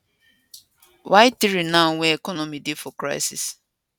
why 3 now wen economy dey for crisis